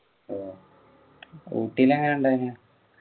ഓ ഊട്ടിയില് എങ്ങനെ ഉണ്ടായതിനു